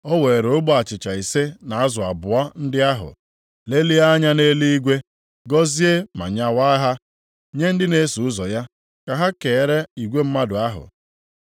O weere ogbe achịcha ise na azụ abụọ ndị ahụ, lelie anya nʼeluigwe, gọzie ma nyawaa ha, nye ndị na-eso ụzọ ya ka ha keere igwe mmadụ ahụ.